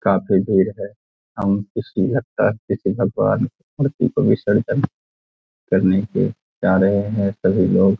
काफी भीड़ है लगता है किसी भगवान मूर्ति का विसर्जन करने के लिए जा रहे हैं सभी लोग।